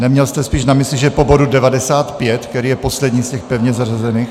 Neměl jste spíš na mysli, že po bodu 95, který je poslední z těch pevně zařazených?